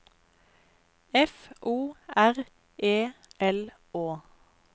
F O R E L Å